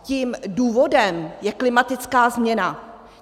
Tím důvodem je klimatická změna.